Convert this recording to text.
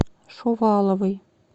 шуваловой